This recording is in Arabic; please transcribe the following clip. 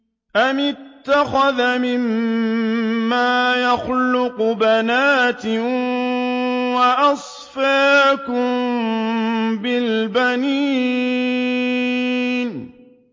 أَمِ اتَّخَذَ مِمَّا يَخْلُقُ بَنَاتٍ وَأَصْفَاكُم بِالْبَنِينَ